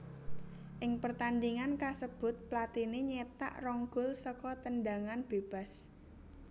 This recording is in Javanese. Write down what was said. Ing pertandhingan kasebut Platini nyétak rong gol saka tendhangan bébas